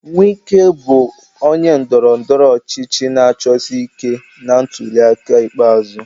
Wike bụ onye ndọrọ ndọrọ ọchịchị na-achọsi ike na ntuli aka ikpeazụ.